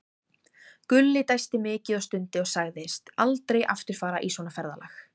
Gulli dæsti mikið og stundi og sagðist aldrei aftur fara í svona ferðalag.